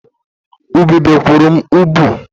Ubube kụrụ m ubu